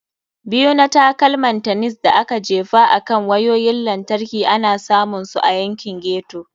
Biyu na Takalman Tennis da aka Jefa akan Wayoyin Lantarki ana samun su a yankin ghetto.